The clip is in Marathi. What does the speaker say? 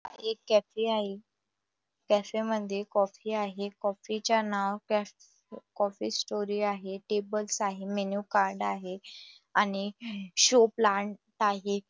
एक कॅफे आहे कॅफे मध्ये कॉफी आहे कॉफी चं नाव कॅफ कॉफीस्टोरी आहे टेबलस् आहे मेन्यू कार्ड आहे आणि शो प्लान्ट आहे.